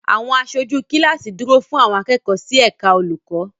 Àwọn aṣojú kíláàsì dúró fún àwọn akẹ́kọ̀ọ́ sí ẹ̀ka olùkọ́.